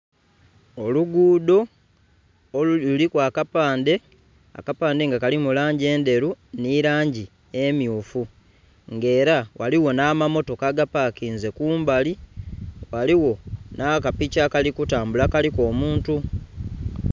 Olugudho luliku akapande akapande nga kalimu langi edheru nhi langi emyufu ng'era ghaligho namamotoka agapakinze kumbali ghaligho n'akapiki akali kutambula kaliku omuntu